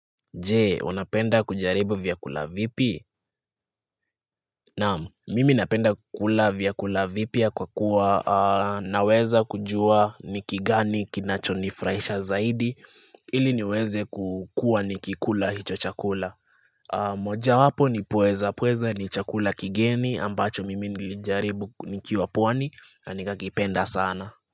Jee, unapenda kujaribu vyakula vipi? Naam, mimi napenda kukula vyakula vipya kwa kuwa naweza kujua ni kigani kinachonifuraisha zaidi ili niweze kukua nikikula hicho chakula. Moja wapo ni pweza, pweza ni chakula kigeni ambacho mimi nilijaribu nikiwa pwani na nikakipenda sana.